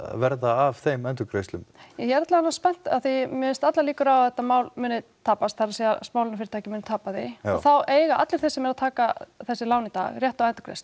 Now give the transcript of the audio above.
verða af þeim endurgreiðslum ég er alla vega spennt af því mér finnst allar líkur á að þetta mál muni tapast það er að smálánafyrirtækin muni tapa því og þá eiga allir þeir sem eru að taka þessi lán í dag rétt á endurgreiðslu